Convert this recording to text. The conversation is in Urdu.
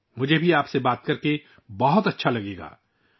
میں بھی آپ سے بات کرنا پسند کروں گا